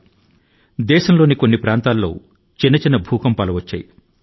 ఇవేమీ కాకపోతే దేశం లోని అనేక ప్రాంతాల లో అడపాదడపా భూకంపాలు సంభవించాయి